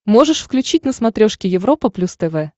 можешь включить на смотрешке европа плюс тв